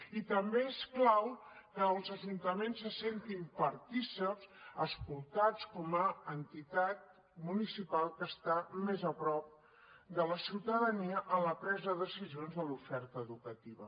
i també és clau que els ajuntaments se sentin partícips escoltats com a entitat municipal que està més a prop de la ciutadania en la presa de decisions de l’oferta educativa